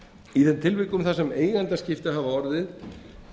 í þeim tilvikum þar sem eigendaskipti hafa orðið